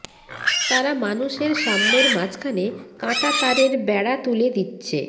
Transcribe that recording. তারা মানুষের সাম্যের মাঝখানে কাঁটা তারের বেড়া তুলে দিচ্ছে